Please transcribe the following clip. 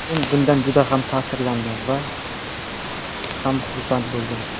Men bundan juda ham ta’sirlandim va ham xursand bo‘ldim.